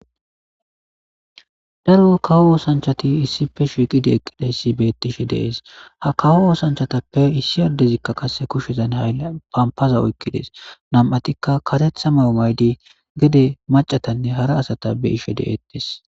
Daro kawo oosanchati issippe shiiqidi eqqidayssi beetishe dees ha kawo oosanchatappe issi addezikka qase kushshezan haylan pampaza oykkidees nami'atikka karetha mayo mayidi gedde macatanne hara asata be'ishe de'eettes